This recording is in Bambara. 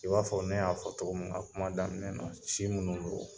I b'a fɔ ne y'a fɔ cogo min na kuma daminɛ na si minnudon.